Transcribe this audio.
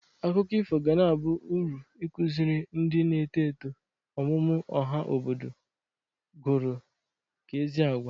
Akụkọ ifo gana aba ụrụ ịkụzịrị ndị na eto eto oMụMụ ọha obodo gụrụ ka ezi agwa.